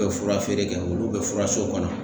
fura feere kɛ olu bɛ fura so kɔnɔ.